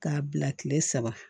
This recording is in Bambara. K'a bila kile saba